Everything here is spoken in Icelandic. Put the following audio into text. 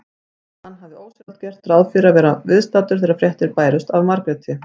Hann hafði ósjálfrátt gert ráð fyrir að vera viðstaddur þegar fréttir bærust af Margréti.